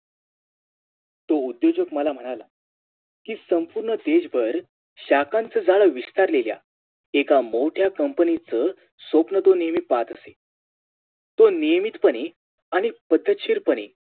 तो उध्योजक मला म्हणाला कि संपूर्ण देशभर शाकांतजाळं विस्तारलेल्या एका मोठ्या Company च स्वप्न तो नेहमी पाहत असे तो नियमितपने आणि पद्धतशीरपणे